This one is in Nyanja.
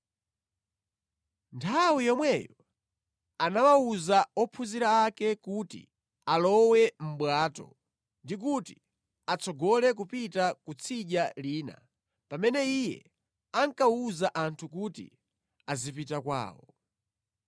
Nthawi yomweyo anawawuza ophunzira ake kuti alowe mʼbwato ndi kuti atsogole kupita kutsidya lina pamene Iye ankawuza anthu kuti azipita kwawo.